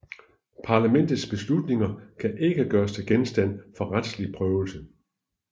Parlamentets beslutninger kan ikke gøres til genstand for retslig prøvelse